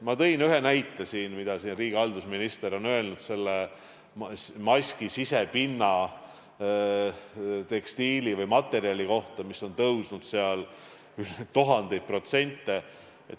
Ma tõin ühe näite, mida siin riigihalduse minister on öelnud selle maski sisepinna tekstiili või materjali kohta, mille hind on tõusnud tuhandeid protsente.